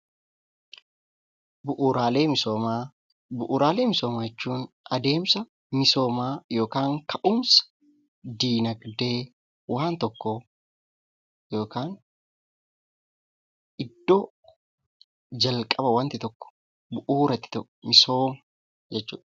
Bu'uuraalee misoomaa jechuun misooma yookiin ka'umsa dinagdee waan tokkoo yookaan iddoo calqaba wanti tokko bu'uura itti ta'u jechuudha.